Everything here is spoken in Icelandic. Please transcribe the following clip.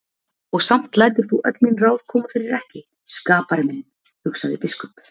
Og samt lætur þú öll mín ráð koma fyrir ekki, skapari minn, hugsaði biskup.